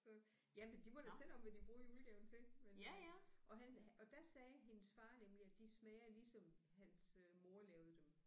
Så jamen de må da selv om hvad de bruger julegaven til men øh og han og der sagde hendes far nemlig at de smager ligesom hans øh mor lavede dem